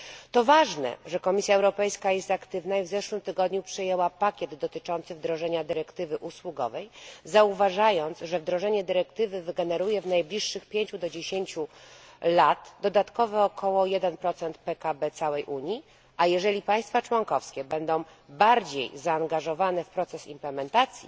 To ważne, że Komisja Europejska jest aktywna i w zeszłym tygodniu przyjęła pakiet dotyczący wdrożenia dyrektywy usługowej, zauważając, że wdrożenie dyrektywy wygeneruje w najbliższych 5 do 10 latach dodatkowo około 1 PKB całej Unii, a jeżeli państwa członkowskie będą bardziej zaangażowane w proces implementacji,